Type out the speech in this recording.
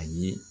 A ye